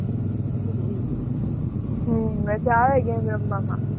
હમ્મ મજા આવે game રમવામાં.